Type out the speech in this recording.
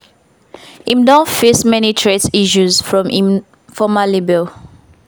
im don face many threat issues from im former label.